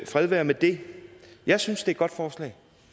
fred være med det jeg synes det er et godt forslag